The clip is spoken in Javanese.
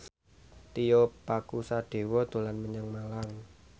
Tio Pakusadewo dolan menyang Malang